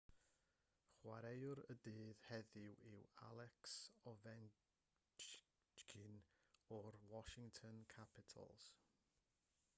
chwaraewr y dydd heddiw yw alex ovechkin o'r washington capitals